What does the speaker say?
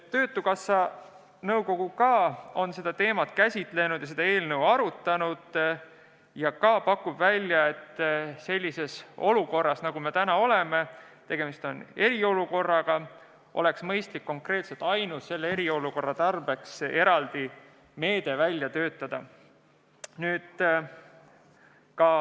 Töötukassa nõukogu on samuti seda teemat käsitlenud ja eelnõu arutanud ning pakub välja, et sellises olukorras, nagu me täna oleme – tegemist on eriolukorraga –, oleks mõistlik töötada välja konkreetselt ainult selle eriolukorra tarbeks eraldi meede.